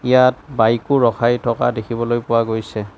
ইয়াত বাইকো ৰখাই থকা দেখিবলৈ পোৱা গৈছে।